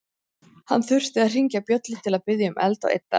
Hann þurfti að hringja bjöllu til að biðja um eld og yddara.